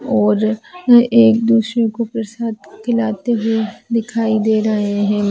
और ये एक दुसरो को प्रसाद खिलाते हुए दिखाई दे रहे है।